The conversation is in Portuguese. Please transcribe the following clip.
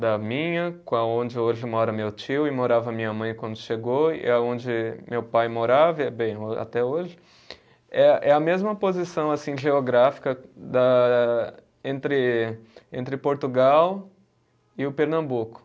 da minha, com a onde hoje mora meu tio e morava minha mãe quando chegou, e a onde meu pai morava e é bem, até hoje, é a é a mesma posição assim geográfica da, entre entre Portugal e o Pernambuco.